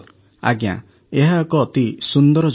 ଆଜ୍ଞା ଏହା ଏକ ଅତି ସୁନ୍ଦର ଯୋଜନା